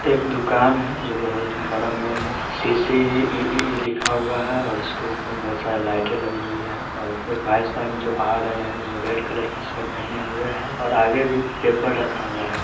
एक दुकान है जो बहुत बड़ा मॉल है सी_सी_इ_इ लिखा हुआ है उसके ऊपर एक ऊपर बहुत सारी लाइटे लगी हुए है और एक भाई साहिब जो आ रहे है वो रेड कलर की शर्ट पहने हुए है और आगे भी पेपर रखा हुआ है।